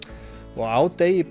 og á degi